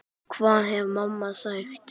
Hvað hefði mamma sagt?